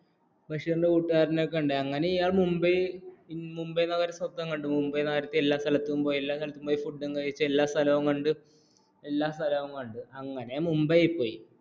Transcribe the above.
ബഷീറിന്റെ കൂട്ടുകാരനെ കണ്ടു അങ്ങനെ ഇയാൾ മുംബൈ നഗരത്തെ സ്വപ്നം കണ്ടു മുംബൈ നഗരത്തിൽ എല്ലാസ്ഥലവും പോയി ഫുട്ടുംകഴിച് എല്ലാസ്ഥലവും അങ്ങനെ മുംബൈ പോയി